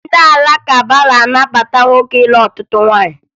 Ndị Alakụba na-anabata nwoke ịlụ ọtụtụ nwaanyị